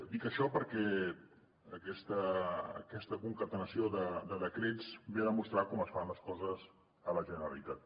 dic això perquè aquesta concatenació de decrets ve a demostrar com es fan les coses a la generalitat